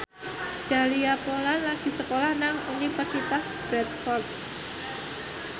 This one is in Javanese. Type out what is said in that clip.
Dahlia Poland lagi sekolah nang Universitas Bradford